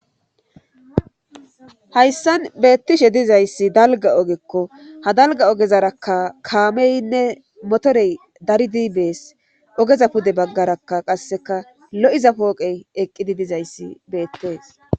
Hayssan beettishe dizayssi dalga ogekko ha dalga ogezarakka kaameynne motorey daridi bees ogeza pude baggarakka qasseka lo7iza pooqey eqqidi dizayssi beettees.